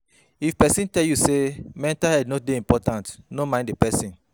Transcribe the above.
If pesin tell you sey mental health no dey important, no mind di pesin.